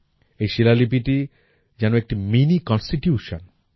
এই শিলালিপিটি যেন একটি miniconstitution